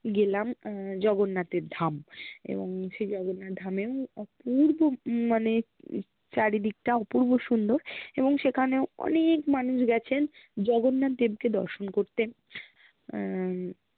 গেলাম উহ জগন্নাথের ধাম এবং সেই জ্গন্নাথ ধামে অপুর্ব হম মানে চারিদিকটা অপুর্ব সুন্দর্ এবং সেখানেও অনেক মানুষ গেছেন জ্গন্নাথ দেবকে দর্শন করতে আহ